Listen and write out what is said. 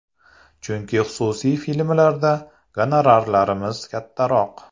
Chunki xususiy filmlarda gonorarlarimiz kattaroq.